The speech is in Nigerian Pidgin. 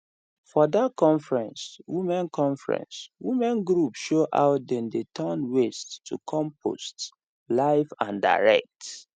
for that conference women conference women group show how dem dey turn waste to compost live and direct